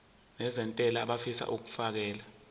nezentela abafisa uukfakela